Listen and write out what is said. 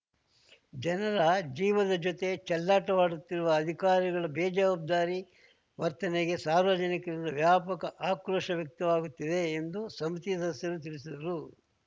ಜನರ ಜೀವದ ಜೊತೆ ಚೆಲ್ಲಾಟವಾಡುತ್ತಿರುವ ಅಧಿಕಾರಿಗಳ ಬೇಜವಾಬ್ದಾರಿ ವರ್ತನೆಗೆ ಸಾರ್ವಜನಿಕರಿಂದ ವ್ಯಾಪಕ ಆಕ್ರೋಶ ವ್ಯಕ್ತವಾಗುತ್ತಿದೆ ಎಂದು ಸಮಿತಿ ಸದಸ್ಯರು ತಿಳಿಸಿದರು